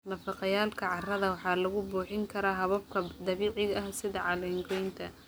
Nafaqeeyayaalka carrada waxaa lagu buuxin karaa hababka dabiiciga ah sida caleen-goynta.